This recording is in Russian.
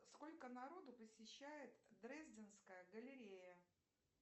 сколько народу посещает дрезденская галерея